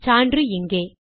சான்று இங்கே